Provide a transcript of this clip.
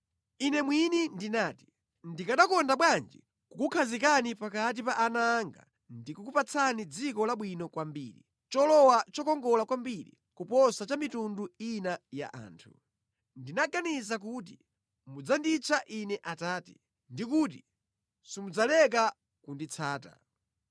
“Ine mwini ndinati, “ ‘Ndikanakonda bwanji kukukhazikani pakati pa ana anga ndikukupatsani dziko labwino kwambiri, cholowa chokongola kwambiri kuposa cha mitundu ina ya anthu.’ Ndinaganiza kuti mudzanditcha Ine ‘Atate’ ndi kuti simudzaleka kunditsata.